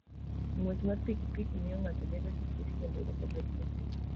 Ng'wech mar pikipiki miyo ng'ato bedo gi chir kendo ok obed maluor.